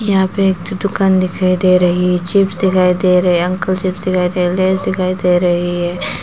यहाँ पे एक दो दुकान दिखाई दे रही चिप्स दिखाई दे रहे अंकल चिप्स दिखाई दे रहे लेज दिखाई दे रही है।